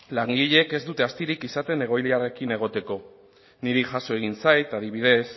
langileek ez dute astirik izaten egoileekin egoteko niri jaso izan zait adibidez